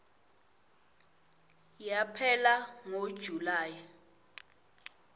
yaphela ngo july